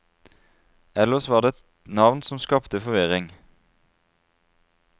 Ellers var det et navn som skapte forvirring.